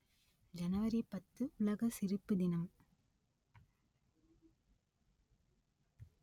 ஜனவரி பத்து உலக சிரிப்பு தினம்